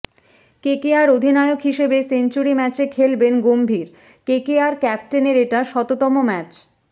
KKR অধিনায়ক হিসেবে century ম্যাচে খেলবেন গম্ভীর কেকেআর ক্যাপ্টেনের এটা শততম ম্যাচ